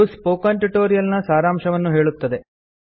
ಇದು spoken tutorial ನ ಸಾರಾಂಶವನ್ನು ಹೇಳುತ್ತದೆ